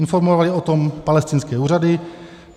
Informovaly o tom palestinské úřady.